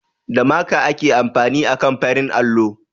Da maka ake amfani akan farin allo